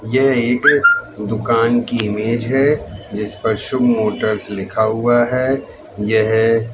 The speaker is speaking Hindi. यह एक दुकान की इमेज है जिस पर शुभ मोटर्स लिखा हुआ है यह--